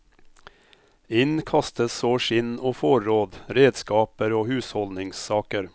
Inn kastes så skinn og forråd, redskaper og husholdningssaker.